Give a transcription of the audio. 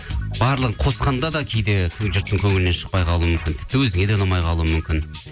барлығын қосқанда да кейде жұрттың көңілінен шықпай қалуы мүмкін тіпті өзіңе де ұнамай қалуы мүмкін